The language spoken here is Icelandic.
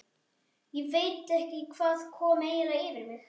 Ég veit ekki hvað kom eiginlega yfir mig.